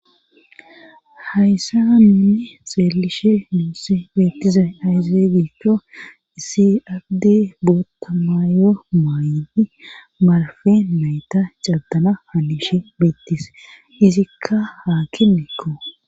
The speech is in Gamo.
Hayssan nuus xeellishe beettizay aybe giikko issi addey bootta mayo maayiidi marfe nayta caddana hanishe beettees izikka haakimekko